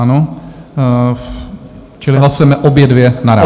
Ano, čili hlasujeme obě dvě naráz.